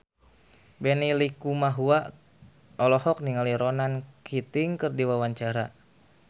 Benny Likumahua olohok ningali Ronan Keating keur diwawancara